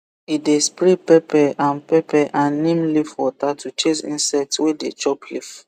e dey spray pepper and pepper and neem leaf water to chase insect wey dey chop leaf